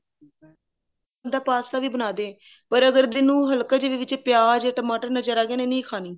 ਹੁਣ ਤਾਂ ਪਾਸਤਾ ਵੀ ਬਣਾ ਦੇ ਪਰ ਅਗਰ ਤੈਨੂੰ ਹਲਕਾ ਜੀਆ ਵੀ ਵਿੱਚ ਪਿਆਜ ਟਮਾਟਰ ਨਜਰ ਆ ਗਏ ਇਹਨੇ ਨਹੀਂ ਖਾਣੀ